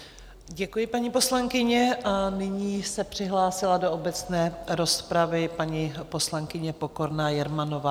Děkuji, paní poslankyně, a nyní se přihlásila do obecné rozpravy paní poslankyně Pokorná Jermanová.